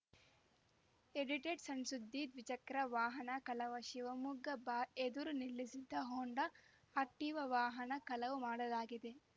ಎಡಿಟೆಡ್‌ಸಣ್‌ಸುದ್ದಿ ದ್ವಿಚಕ್ರ ವಾಹನ ಕಳವು ಶಿವಮೊಗ್ಗ ಬಾರ್ ಎದುರು ನಿಲ್ಲಿಸಿದ್ದ ಹೊಂಡಾ ಆಕ್ಟಿವಾ ವಾಹನ ಕಳವು ಮಾಡಲಾಗಿದೆ